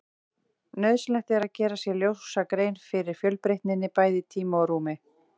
Nauðsynlegt er að gera sér ljósa grein fyrir fjölbreytninni, bæði í tíma og rúmi.